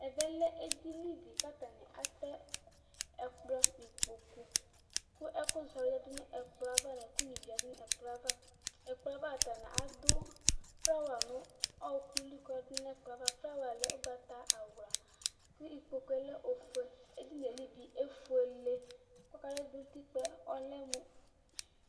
Ɛvɛlɛ edini di kʋ atɛ ɛkplɔ nʋ ikpokʋ kʋ ɛkʋzɔ yadʋ nʋ ɛkplɔ yɛ ava ɛkplɔ yeava atani adʋ flawa nʋ ɔkʋli kʋ oyadʋ nʋ ɛkplɔ yɛ ava flawa lɛ ʋgbatawla kʋ ikpokʋ ɔlɛ ofuele edini yɛli bi efuele kʋ utikpa yɛ lɛmʋ